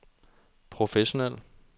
professionel